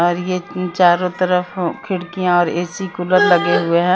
और ये चारो तरफ अः खिड़किया ऐ_सी कूलर लगे हुए है।